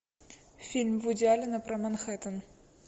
фильм вуди аллена про манхеттен